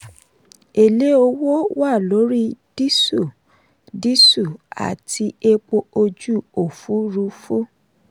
èlé owó wà lórí diesel diesel àti epo ojú òfúrufú.